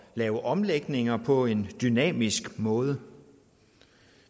lave omlægninger på en dynamisk måde